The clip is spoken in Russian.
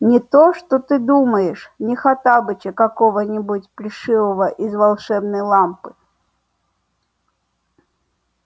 не то что ты думаешь не хоттабыча какого-нибудь плешивого из волшебной лампы